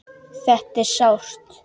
Þetta er sárt.